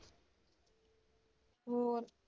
ਹੋਰ?